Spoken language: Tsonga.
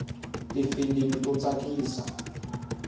tifilimi to tsakisa